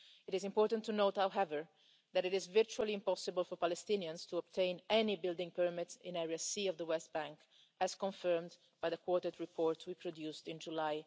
It is important to note, however, that it is virtually impossible for Palestinians to obtain any building permits in Area C of the West Bank, as confirmed by the quartet report we produced in July